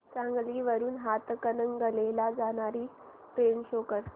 सांगली वरून हातकणंगले ला जाणारी ट्रेन शो कर